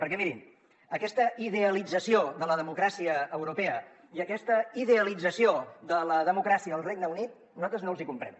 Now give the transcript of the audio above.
perquè mirin aquesta idealització de la democràcia europea i aquesta idealització de la democràcia al regne unit nosaltres no les hi comprem